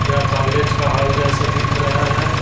यह कॉलेज का हॉल जैसा दिख रहा है।